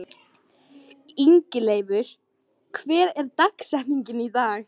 Ingileifur, hver er dagsetningin í dag?